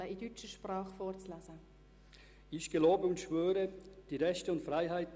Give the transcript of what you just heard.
Ich bitte die fünf neuen Ratsmitglieder, nach vorne zu treten.